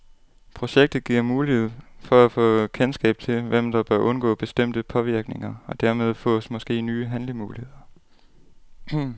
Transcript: Projektet giver mulighed for at få kendskab til, hvem der bør undgå bestemte påvirkninger, og dermed fås måske nye handlemuligheder.